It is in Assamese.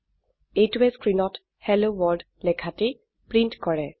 এইটোৱে স্ক্ৰিনত হেল্ল ৱৰ্ল্ড লেখাটি প্ৰিন্ট কৰে